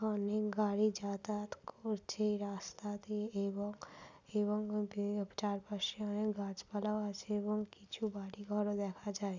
অনেক গাড়ি যাতায়াত করছে রাস্তা দিয়ে এবং এবং বে চারপাশে অনেক গাছ পালাও আছে এবং কিছু বাড়িঘর ও দেখা যায়।